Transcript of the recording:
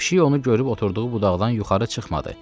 Pişik onu görüb oturduğu budaqdan yuxarı çıxmadı.